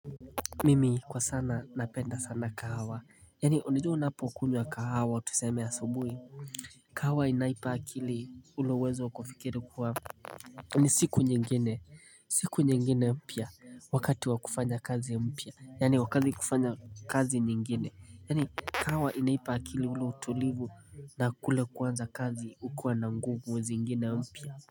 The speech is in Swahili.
Mimi kwa sana napenda sana kahawa Yani unajua unapokunywa kahawa tuseme asubui kahawa inaipa akili ule uwezo wa kufikiri kuwa ni siku nyingine siku nyingine mpya wakati wa kufanya kazi mpya Yani wakati kufanya kazi nyingine Yani kahawa inaipa akili ule utulivu na kule kuanza kazi ukuwa na nguvu zingine mpya.